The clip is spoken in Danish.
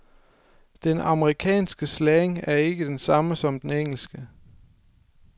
Den amerikanske slang er ikke den samme som den engelske.